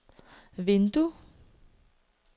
vindue